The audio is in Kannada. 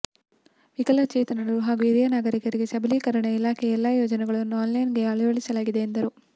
ವಿಕಲಚೇತನರು ಹಾಗೂ ಹಿರಿಯನಾಗರಿಕ ಸಬಲೀಕರಣ ಇಲಾಖೆಯ ಎಲ್ಲಾ ಯೋಜನೆಗಳನ್ನು ಆನ್ಲೈನ್ಗೆ ಅಳವಡಿಸಲಾಗಿದೆ ಎಂದರು